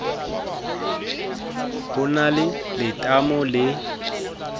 ho na le letamo le